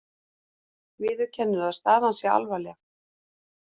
Viðurkennir að staðan sé alvarleg